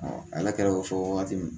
ala kɛra o fɔ waati ye